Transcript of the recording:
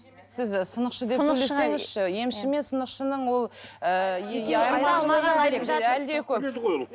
сіз сынықшы деп сөйлесеңізші емші мен сынықшының ол ы